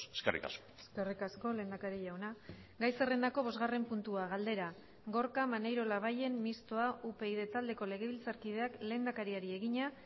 eskerrik asko eskerrik asko lehendakari jauna gai zerrendako bosgarren puntua galdera gorka maneiro labayen mistoa upyd taldeko legebiltzarkideak lehendakariari egina